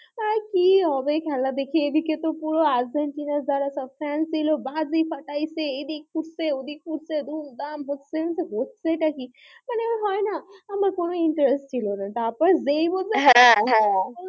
কি হবে খেলা দেখে এদিকে তো পুরো আর্জেন্টিনার যারা সব fan ছিল বাজি ফাটাচ্ছে এদিক ফুটছে ওদিক ফুটছে দুম-দাম হচ্ছে আমি বলছি হচ্ছেটা কি? মানে হয় না আমার কোন interest ছিল না তারপর যেই বলেছে হ্যাঁ হ্যাঁ,